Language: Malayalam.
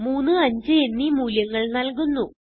3 5 എന്നീ മൂല്യങ്ങൾ നല്കുന്നു